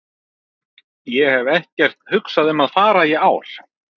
Ég hef ekkert hugsað um að fara í ár.